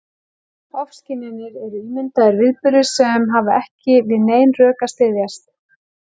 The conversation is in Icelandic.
Ofskynjanir eru ímyndaðir viðburðir sem hafa ekki við nein rök að styðjast.